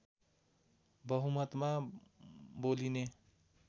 बहुमतमा बोलिने